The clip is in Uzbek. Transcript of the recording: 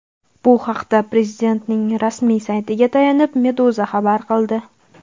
Bu haqda Prezidentning rasmiy saytiga tayanib Meduza xabar qildi .